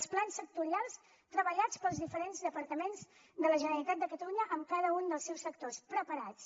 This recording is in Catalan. els plans sectorials treballats pels diferents departaments de la generalitat de catalunya amb cada un dels seus sectors preparats